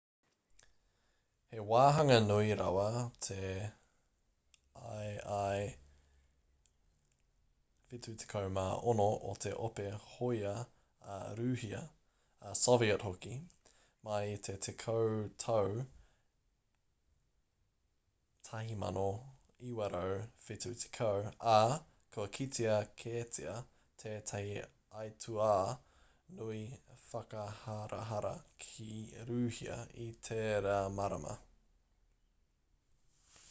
he wāhanga nui rawa te ii-76 o te ope hōia a rūhia a soviet hoki mai i te tekau tau 1970 ā kua kitea kētia tētahi aituā nui whakaharahara ki rūhia i tērā marama